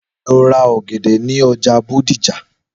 Lọ ra ọ̀gẹ̀dẹ̀ ní ọjà Bódìjà!